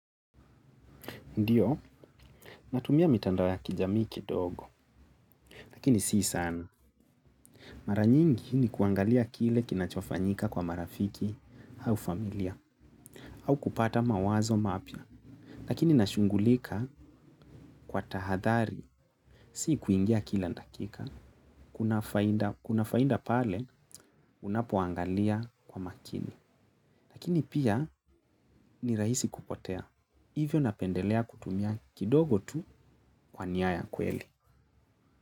Ndiyo, natumia mitandao ya kijamii kidogo, lakini si sana. Mara nyingi ni kuangalia kile kinachofanyika kwa marafiki au familia, au kupata mawazo mapya, lakini nashugulika kwa tahadhari, sii kuingia kila dakika, kuna faida pale unapoangalia kwa makini. Lakini pia ni rahisi kupotea, hivyo napendelea kutumia kidogo tu kwa nia ya kweli.